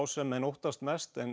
sem menn óttast mest en